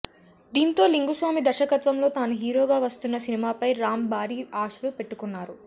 దీంతో లింగుస్వామి దర్శకత్వంలో తాను హీరోగా వస్తున్న సినిమాపై రామ్ భారీ ఆశలు పెట్టుకున్నారు